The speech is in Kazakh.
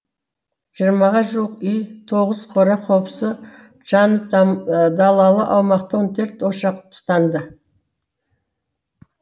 жиырмаға жуық үй тоғыз қора қопсы жанып далалы аумақта он төрт ошақ тұтанды